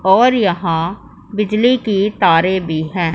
और यहां बिजली के तारे भी हैं।